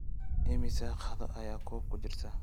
Immisa qaado ayaa koob ku jira?